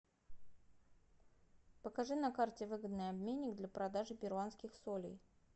покажи на карте выгодный обменник для продажи перуанских солей